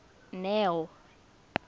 neo